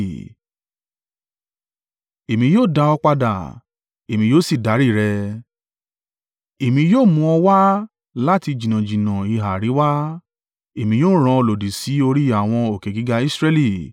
Èmi yóò dá ọ padà, èmi yóò sì darí rẹ. Èmi yóò mú ọ wá láti jìnnàjìnnà ìhà àríwá, Èmi yóò rán ọ lòdì sí orí àwọn òkè gíga Israẹli.